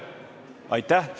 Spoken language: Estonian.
Aitäh!